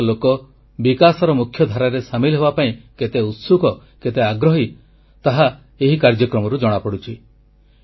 କାଶ୍ମୀରର ଲୋକେ ବିକାଶର ମୁଖ୍ୟଧାରାରେ ସାମିଲ ହେବାପାଇଁ କେତେ ଉତ୍ସୁକ କେତେ ଆଗ୍ରହୀ ତାହା ଏହି କାର୍ଯ୍ୟକ୍ରମରୁ ଜଣାପଡ଼ୁଛି